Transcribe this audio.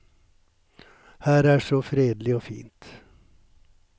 Her er så fredelig og fint.